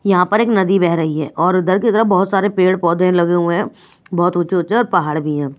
यहाँ पर एक नदी बह रही है और उधर की तरफ बहुत सारे पेड़ पौधे लगे हुए हैं बहुत ऊँचे ऊँचे और पहाड़ भी हैं।